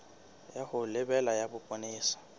ya ho lebela ya bopolesa